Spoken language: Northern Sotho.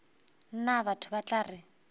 nna batho ba tla re